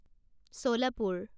Solapur